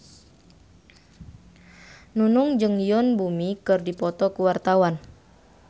Nunung jeung Yoon Bomi keur dipoto ku wartawan